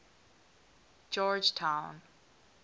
georgetown